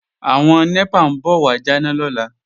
Àwọn NEPA ń bọ̀ wà jáná lọ́la